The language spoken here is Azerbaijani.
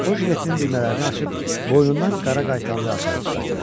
O jiletinin düymələrini açıb boynundan qara qaytanlı açarı çıxartdı.